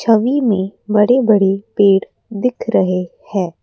छवि में बड़े बड़े पेड़ दिख रहे हैं।